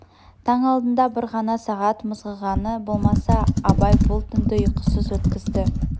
таң алдында бір ғана сағат мызғығаны болмаса абай бұл түнді ұйқысыз өткізді